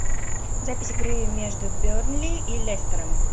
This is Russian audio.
запись игры между бернли и лестером